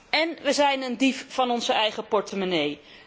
En wij zijn een dief van onze eigen portemonnee.